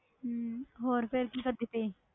ਹਮ ਹੋਰ ਫਿਰ ਕੀ ਕਰਦੀ ਪਈ